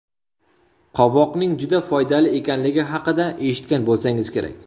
Qovoqning juda foydali ekanligi haqida eshitgan bo‘lsangiz kerak.